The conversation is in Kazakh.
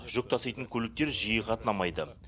жүк таситын көліктер жиі қатынамайды